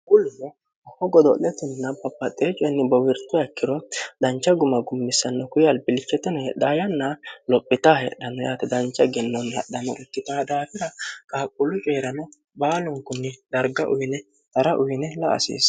qulmo oho godo'letinna bapaxxee coenni bowirto akkiro dancha guma gummissanno kuy albillchetino hedha yanna lophitaa hedhanno yaate dancha igennoonni hadhamorikkita daafira kaaqhuullu ceerano baalunkunni darga uyine xara uyine la asiissa